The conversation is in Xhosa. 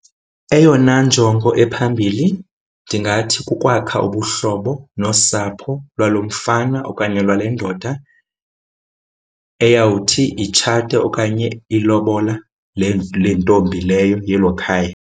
Eyona njongo ephambili ndingathi kukwakha ubuhlobo nosapho lwalo mfana okanye lwale ndoda eyawuthi itshate okanye ilobola le le ntombi leyo yelo khaya.